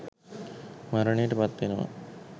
මරණයට පත් වෙනවා.